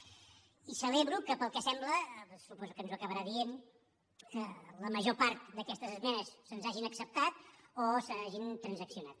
i celebro que pel que sembla suposo que ens ho acabarà dient la major part d’aquestes esmenes se’ns hagin acceptat o s’hagin transaccionat